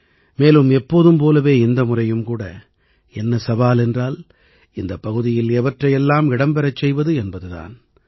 மேலும் எப்போதும் போலவே இந்த முறையும் கூட என்ன சவால் என்றால் இந்தப் பகுதியில் எவற்றையெல்லாம் இடம் பெறச் செய்வது என்பது தான்